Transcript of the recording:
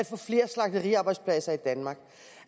få flere slagteriarbejdspladser i danmark